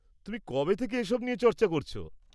-তুমি কবে থেকে এসব নিয়ে চর্চা করছ?